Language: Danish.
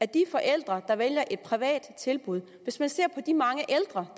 de forældre der vælger et privat tilbud hvis vi ser på de mange ældre